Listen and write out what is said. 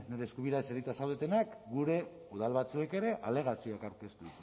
nire eskubira eserita zaudetenak gure udal batzuek ere alegazioak aurkeztu